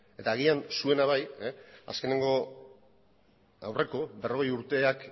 eta agian zuena bai azkeneko aurreko berrogei urteak